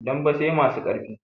Dambe sai masu ƙarfi